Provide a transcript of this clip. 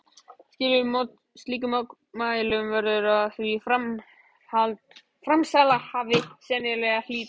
Slíkum mótmælum verður því framsalshafi sennilega að hlíta.